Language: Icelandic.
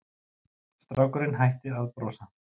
Strákurinn hætti að brosa.